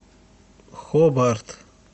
хобарт